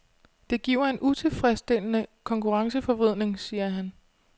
Det giver en utilfredsstillende konkurrenceforvridning, siger han.